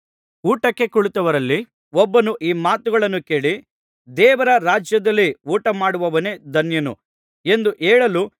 ಊಟಕ್ಕೆ ಕುಳಿತವರಲ್ಲಿ ಒಬ್ಬನು ಈ ಮಾತುಗಳನ್ನು ಕೇಳಿ ದೇವರ ರಾಜ್ಯದಲ್ಲಿ ಊಟಮಾಡುವವನೇ ಧನ್ಯನು ಎಂದು ಹೇಳಲು